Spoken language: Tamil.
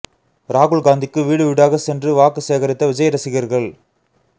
ராகுல் காந்திக்கு வீடு வீடாக சென்று வாக்கு சேகரித்த விஜய் ரசிகர்கள்